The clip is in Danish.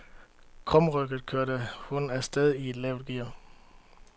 Krumrygget kører hun af sted i et lavt gear.